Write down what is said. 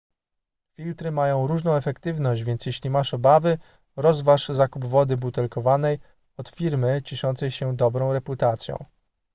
filtry mają różną efektywność więc jeśli masz obawy rozważ zakup wody butelkowanej od firmy cieszącej się dobrą reputacją